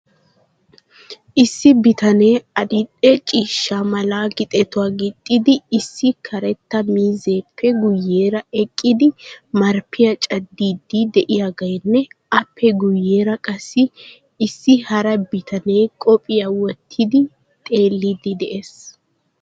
Issi bitanee adildhdhe mala gixetuwaa gixxidi issi karetta miizzeppe guyeera eqqidi marppiya cadfidi de'iyaageenne aape guyeera qassi issi hara bitanee koppiyiyaa wottidi xeellidi dees.